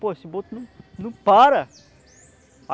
Pô, esse boto não não para.